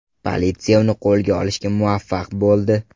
Politsiya uni qo‘lga olishga muvaffaq bo‘ldi.